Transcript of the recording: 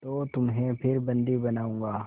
तो तुम्हें फिर बंदी बनाऊँगा